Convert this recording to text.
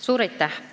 Suur aitäh!